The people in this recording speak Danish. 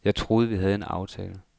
Jeg troede, at vi havde en aftale.